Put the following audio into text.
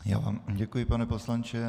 Já vám děkuji, pane poslanče.